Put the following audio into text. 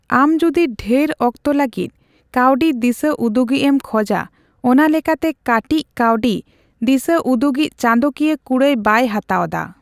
ᱟᱢ ᱡᱩᱫᱤ ᱰᱷᱮᱨ ᱚᱠᱛᱚ ᱞᱟᱹᱜᱤᱫ ᱠᱟᱹᱣᱰᱤ ᱫᱤᱥᱟᱹ ᱩᱫᱩᱜᱤᱡ ᱮᱢ ᱠᱷᱚᱡᱟ, ᱚᱱᱟ ᱞᱮᱠᱟᱛᱮ ᱠᱟᱴᱤᱪ ᱠᱟᱹᱣᱰᱤ ᱫᱤᱥᱟᱹᱩᱫᱩᱜᱤᱡ ᱪᱟᱸᱫᱚᱠᱤᱭᱟᱹ ᱠᱩᱲᱟᱹᱭ ᱵᱟᱭ ᱦᱟᱛᱟᱣᱫᱟ ᱾